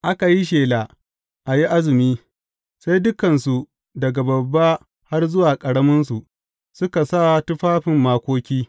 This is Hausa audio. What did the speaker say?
Aka yi shela a yi azumi, sai dukansu daga babba har zuwa ƙaraminsu, suka sa tufafin makoki.